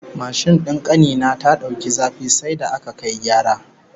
Mashin din kani na ta dauki zafi sai da aka kai gyara